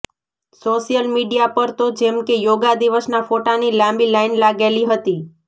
social media પર તો જેમ કે યોગા દિવસના ફોટાની લાંબી લાઇન લાગેલી હતી